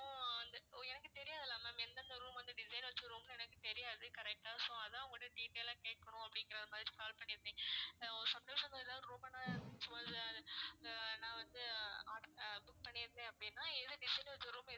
வந்து எனக்கு தெரியாதுல்ல ma'am எந்தெந்த room வந்து design வெச்ச room னு எனக்கு தெரியாது correct ஆ so அதான் உங்ககிட்ட detail ஆ கேக்கணும் அப்படிங்கிற மாதிரி call பண்ணிருந்தேன் அஹ் suppose இப்ப ஏதாவது room அ நான் அஹ் நான் வந்து ஆஹ் book பண்ணி இருந்தேன் அப்படின்னா எது design வெச்ச room